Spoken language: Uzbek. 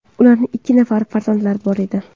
Ularning ikki nafari farzandi bor edi.